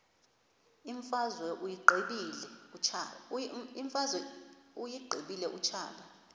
imfazwe uyiqibile utshaba